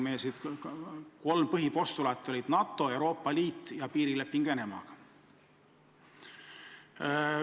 Meie kolm põhipostulaati olid NATO, Euroopa Liit ja piirileping Venemaaga.